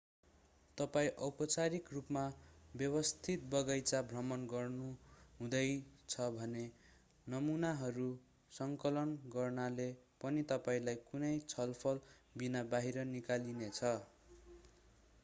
तपाईं औपचारिक रूपमा व्यवस्थित बगैंचा भ्रमण गर्नुहुँदैछ भने नमुनाहरू सङ्कलन गर्नाले पनि तपाईंलाई कुनै छलफलबिनाबाहिर निकालिनेछ